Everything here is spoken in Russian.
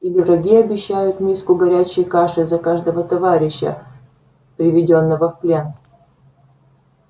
или враги обещают миску горячей каши за каждого товарища приведённого в плен